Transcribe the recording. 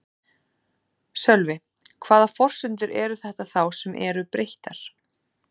Sölvi: Hvaða forsendur eru þetta þá sem eru breyttar?